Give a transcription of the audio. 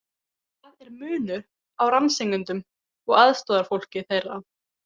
Það er munur á rannsakendum og aðstoðarfólki þeirra.